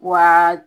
Wa